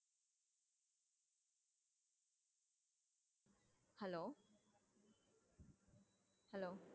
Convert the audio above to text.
hello hello